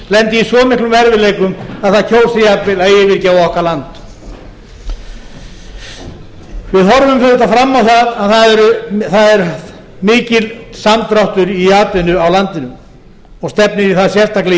lendi í svo miklum erfiðleikum að það kjósi jafnvel að yfirgefa okkar land við horfum auðvitað fram á að það er mikill samdráttur í atvinnu á landinu og stefnir í það sérstaklega í